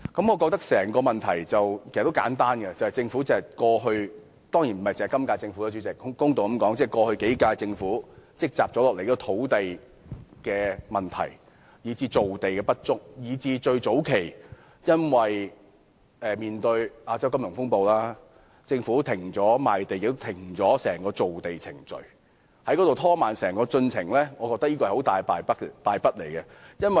我覺得整個問題其實很簡單，就是政府——主席，當然不只是今屆政府，公道地說，也是過去數屆政府——積壓下來的土地問題，以致造地不足，加上早期為應對亞洲金融風暴，政府停止了賣地及整個造地程序，整個進程因而被拖慢，我認為是一大敗筆。